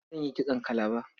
Zan yi kitson kalaba.